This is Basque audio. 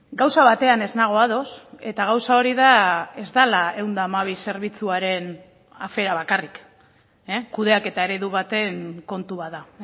gauza batean ez nago ados eta gauza hori da ez dela ehun eta hamabi zerbitzuaren afera bakarrik kudeaketa eredu baten kontu bat da